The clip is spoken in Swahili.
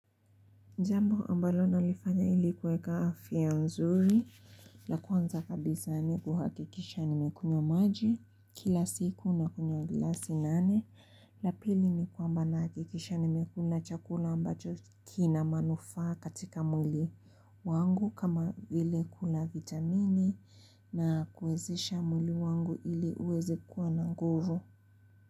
Jambo ambalo nalifanya ili kuweka afya nzuri, la kwanza kabisa ni kuhakikisha nimekunywa maji, kila siku na kunywa glasi nane, la pili ni kwamba nahakikisha nimekula chakula ambacho kina manufaa katika mwili wangu kama vile kuna vitamini na kuwezesha mwili wangu ili uweze kuwa na nguvu.